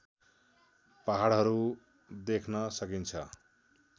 पहाडहरू देख्न सकिन्छ